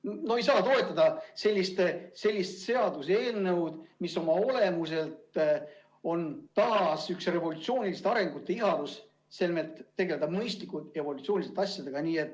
No ei saa toetada sellist seaduseelnõu, mis oma olemuselt on taas üks revolutsioonilise arengu ihalus, selmet tegelda asjadega mõistlikult, evolutsiooniliselt.